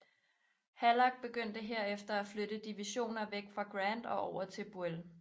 Halleck begyndte herefter at flytte divisioner væk fra Grant og over til Buell